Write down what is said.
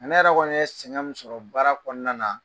Ne yɛrɛ kɔni yɛ sɛŋɛn min sɔrɔ baara kɔɔna na